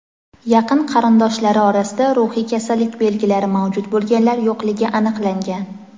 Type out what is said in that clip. yaqin qarindoshlari orasida ruhiy kasallik belgilari mavjud bo‘lganlar yo‘qligi aniqlangan.